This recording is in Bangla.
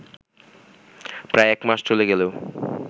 প্রায় একমাস চলে গেলেও